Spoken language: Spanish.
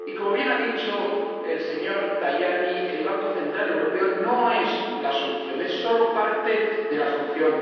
Y, como bien ha dicho el señor Tajani, el Banco Central Europeo no es la solución, es solo parte de la solución.